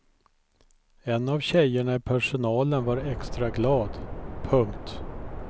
En av tjejerna i personalen var extra glad. punkt